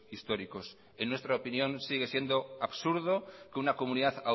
históricos en nuestra opinión sigue siendo absurdo que una comunidad